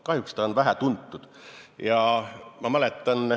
Kahjuks sellest teatakse vähe.